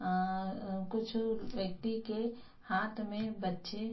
अअं अ कुछ व्यक्ति के हाँत में बच्चे --